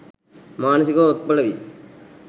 මානසිකව ඔත්පල වී